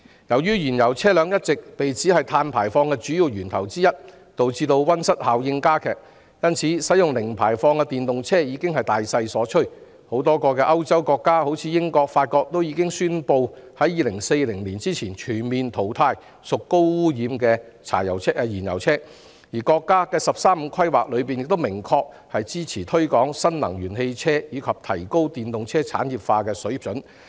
由於燃油車輛一直被指是其中一個主要碳排放源頭，導致溫室效應加劇，因此使用零排放電動車車輛已是大勢所趨，多個歐洲國家如英國、法國已宣布會在2040年前，全面淘汰屬高污染的燃油車，而國家的"十三五"規劃亦明確支持推廣新能源汽車及提高電動車產業化的水平。